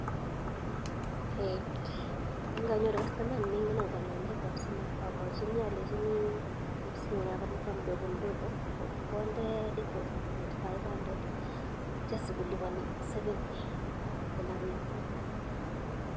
Nganyoru kastomayiat nee mengen akopa lipanet ab simet amwachinii alenchini koibit simet nebo lipa mdogo mdogo konde deposit 2500 atya sikolipanii seventy kila betut